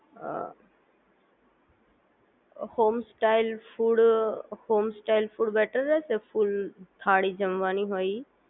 અ home style food home style food better રહેશે full thali જમવાની હોય ઈ